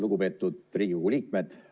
Lugupeetud Riigikogu liikmed!